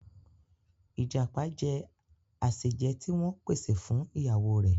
Ìjàpá jẹ àsèje ti wọ́n pè sè fún ìyàwó rè